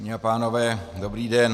Dámy a pánové, dobrý den.